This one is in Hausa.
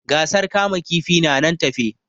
Gasar kama kifi na nan tafe